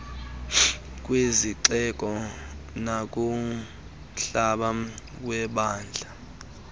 kwizixeko nakumhlaba webandla